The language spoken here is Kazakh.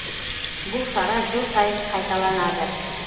бұл шара жыл сайын қайталанады